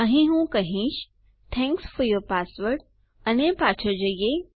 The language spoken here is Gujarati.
અહીં હું કહીશ થેંક્સ ફોર યૂર પાસવર્ડ અને પાછળ જઈએ